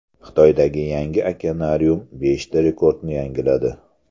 Xitoydagi yangi okeanarium beshta rekordni yangiladi.